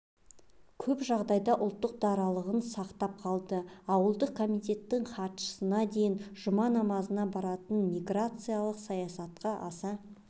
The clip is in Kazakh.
көп жағдайда ұлттық даралығын сақтап қалды аудандық комитеттің хатшысына дейін жұма намазына барады миграциялық саясатқа аса